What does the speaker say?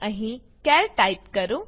અહીં ચાર ટાઈપ કરો